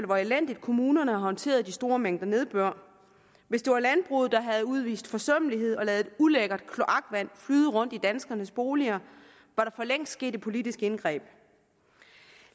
hvor elendigt kommunerne har håndteret de store mængder nedbør hvis det var landbruget der havde udvist forsømmelighed og ladet ulækkert kloakvand flyde rundt i danskernes boliger var der for længst sket et politisk indgreb